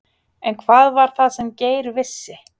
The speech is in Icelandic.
En hvað var það sem Geir vissi?